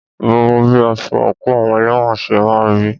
Mo mọ bí aṣọ àńkò àwọn elẹ́wọ̀n ṣe máà ń rí.